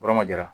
Yɔrɔ ma ja